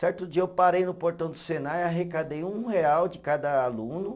Certo dia eu parei no portão do Senai e arrecadei um real de cada aluno.